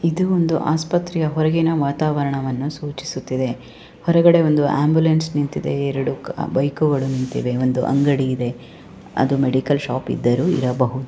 ಇದು ಒಂದು ಆಸ್ಪತ್ರೆಯ ಹೊರಗಿನ ವಾತಾವರಣವನ್ನ ಸೂಚಿಸುತ್ತಿದೆ. ಹೊರಗಡೆ ಒಂದು ಆಂಬುಲೆನ್ಸ್ ನಿಂತಿದೆ ಎರಡು ಬೈಕುಗಳು ನಿಂತಿವೆ ಒಂದು ಅಂಗಡಿ ಇದೆ ಅದು ಮೆಡಿಕಲ್ ಶಾಪ್ ಇದ್ದರೂ ಇರಬಹುದು.